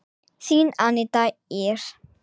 Þín Aníta Ýr.